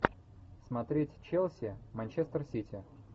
смотреть челси манчестер сити